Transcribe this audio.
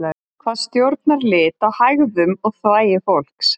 hvað stjórnar lit á hægðum og þvagi fólks